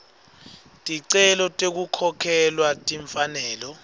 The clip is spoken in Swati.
ticelo tekukhokhelwa timfanelo